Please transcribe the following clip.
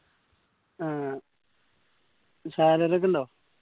ആഹ് salary ഒക്കെ ഉണ്ടോ